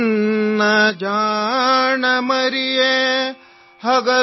ನನ್ನ ಜಾಣ ಮುದ್ದು ಮಗುವೇ ಮಲಗು